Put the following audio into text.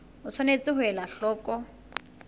o tshwanetse ho ela hloko